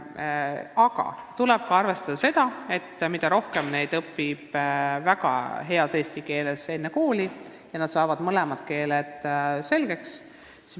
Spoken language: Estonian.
Aga tuleb arvestada üht asja, kui järjest rohkem lapsi õpib enne kooli eesti keele väga hästi selgeks, kui nad saavad mõlemad keeled selgeks.